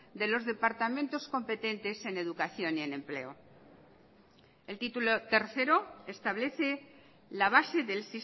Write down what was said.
de los departamentos competentes en educación y en empleo el título tercero establece la base del